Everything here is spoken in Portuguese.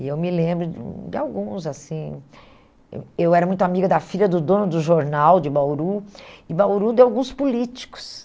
E eu me lembro de um de alguns, assim... Eu eu era muito amiga da filha do dono do jornal de Bauru, e Bauru deu alguns políticos.